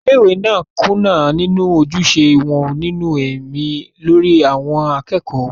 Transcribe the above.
ilé ìwé náà ń kùnà nínú ojúṣe wọn nínú ẹ̀mí lórí àwọn akẹ́kọ̀ọ́ wọn